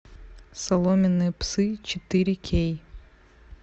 соломенные псы четыре кей